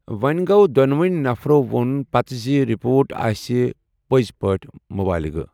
وونہِ گوٚو دونویی نفرو وون پتہٕ زِ رپوٹ آسہِ پزۍ پٲٹھۍ مُبلِغہٕ ۔